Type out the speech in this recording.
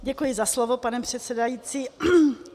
Děkuji za slovo, pane předsedající.